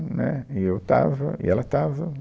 Né, e eu estava e ela estava.